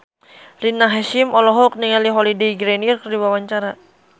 Rina Hasyim olohok ningali Holliday Grainger keur diwawancara